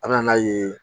An bɛ n'a ye